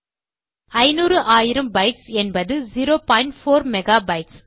ஐநூறு ஆயிரம் பைட்ஸ் என்பது 0 பாயிண்ட் 4 மெகாபைட்ஸ்